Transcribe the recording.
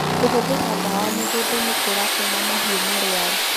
Kũhũthira dawa mũgũnda nĩ kũratũma mahiũ marware